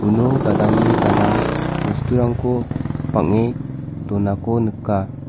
uno gadangni gadang bosturangko bange donako nika.